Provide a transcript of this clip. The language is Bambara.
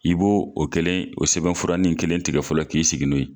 I b'o o kelen o sɛbɛnfuranni kelen tigɛ fɔlɔ k'i sigi n'o ye